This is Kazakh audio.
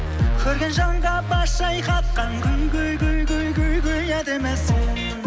көрген жанға бас шайқатқан гүл гүл гүл гүл гүл гүл әдемісің